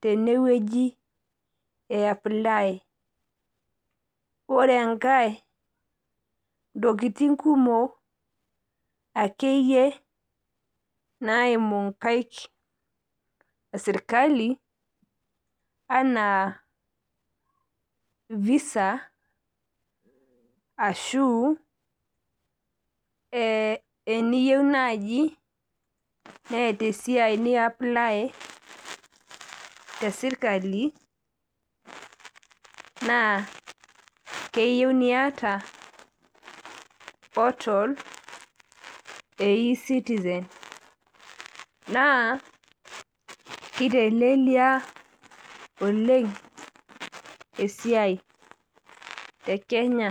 tenewuji eapply. Ore enkai ntokitin kumok akeyie naimu nkaik esirkali anaa Visa ashuu eeeh niyieu naaji neeta esiai niapply tesirkali naa keyieu niata portal e Ecitizen naa keitelelia oleng esiai tekenya